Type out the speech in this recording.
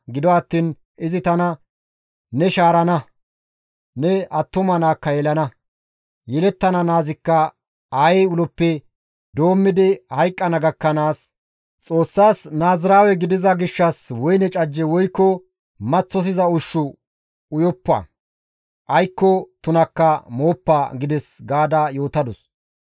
Gido attiin izi tana, ‹Ne shaarana; ne attuma naakka yelana; yelettana naazikka aayey uloppe doommidi hayqqana gakkanaas, Xoossas Naaziraawe gidiza gishshas woyne cajje woykko maththosiza ushshu uyoppa; aykko tuna miishshika mooppa› gides» gaada yootadus.